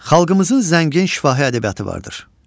Xalqımızın zəngin şifahi ədəbiyyatı vardır.